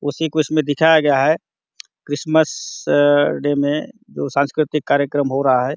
उसी को इसमें दिखाया गया है क्रिसमस डे में कुछ सांस्कृतिक कार्यक्रम हो रहा हैं।